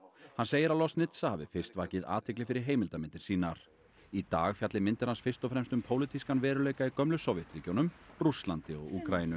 hann segir að Loznitsa hafi fyrst vakið athygli fyrir heimildarmyndir sínar í dag fjalli myndir hans fyrst og fremst um pólitískan veruleika í gömlu Sovétríkjunum Rússlandi og Úkraínu